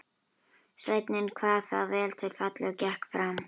Sveinninn kvað það vel til fallið og gekk fram.